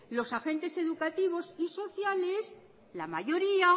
los agentes educativos y sociales la mayoría